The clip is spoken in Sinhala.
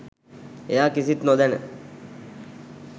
එයා කිසිත් නොදැන